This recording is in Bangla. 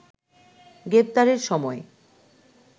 গ্রেপ্তারের সময়